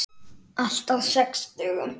Allt á sex dögum.